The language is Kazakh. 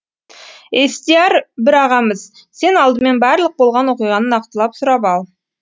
естияр бір ағамыз сен алдымен барлық болған оқиғаны нақтылап сұрап ал